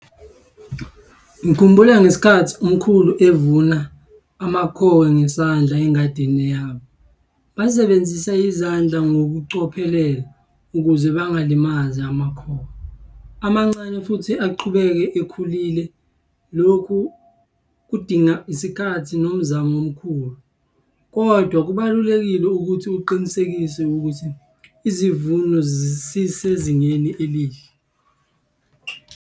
Ngikhumbula ngesikhathi umkhulu evuna amakhowe ngesandla engadini yabo. Basebenzisa izandla ngokucophelela ukuze bangalimazi amakhowe. Amancane futhi aqhubeke ekhulile, lokhu kudinga isikhathi nomzamo omkhulu, kodwa kubalulekile ukuthi uqinisekise ukuthi izivuno zisisezingeni elihle.